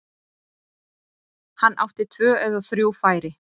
Hann átti tvö eða þrjú færi.